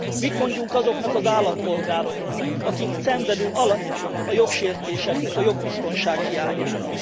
Mit mondjunk azoknak az állampolgároknak, akik szenvedő alanyai a jogsértéseknek, a jogbiztonság hiányának?